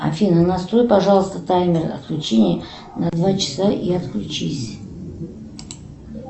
афина настрой пожалуйста таймер отключения на два часа и отключись